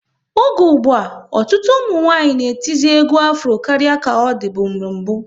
Oge ụgbụa, ọtụtụ ụmụnwanyị na etizi egwu Afro karịa ka ọ dịbu n'mbu